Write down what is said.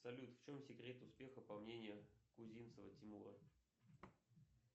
салют в чем секрет успеха по мнению кузинцева тимура